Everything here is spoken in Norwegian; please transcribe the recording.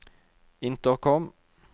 intercom